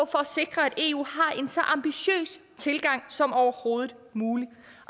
sikre at eu har en så ambitiøs tilgang som overhovedet muligt